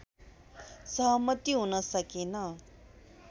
सहमति हुन सकेन